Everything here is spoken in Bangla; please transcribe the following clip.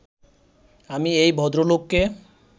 আমি এই ভদ্রলোককে